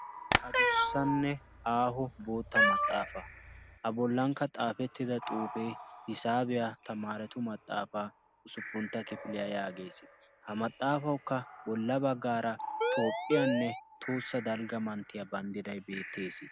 Adussanne aaho bootta maxaafa a bollankka xaafettida xuufee hisaabiyaa tamaaratu maxaafaa usuppuntta kifiliyaa yaagees. ha maxaafaukka bolla baggaara toophphiyaanne tohossa dalgga manttiyaa banddidai beettees.